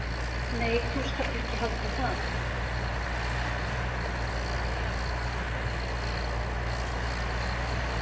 """Nei, þú skalt ekki halda það!"""